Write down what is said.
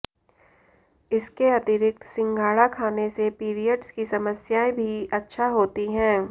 इसके अतिरिक्त सिंघाड़ा खाने से पीरियड्स की समस्याएं भी अच्छा होती हैं